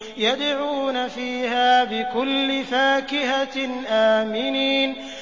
يَدْعُونَ فِيهَا بِكُلِّ فَاكِهَةٍ آمِنِينَ